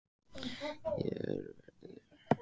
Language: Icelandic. Hér verður um sjálfstætt félag að tefla.